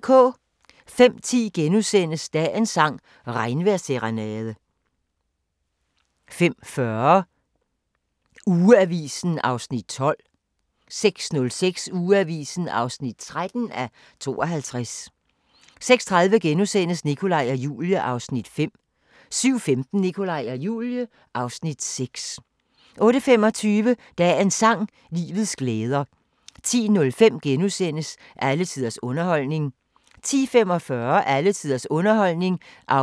05:10: Dagens sang: Regnvejrsserenade * 05:40: Ugeavisen (12:52) 06:05: Ugeavisen (13:52) 06:30: Nikolaj og Julie (Afs. 5)* 07:15: Nikolaj og Julie (Afs. 6) 08:25: Dagens sang: Livets glæder 10:05: Alle tiders underholdning (7:8)* 10:45: Alle tiders underholdning (8:8)